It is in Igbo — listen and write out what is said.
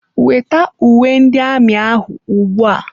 Weta uwe ndị amị ahụ ugbu a!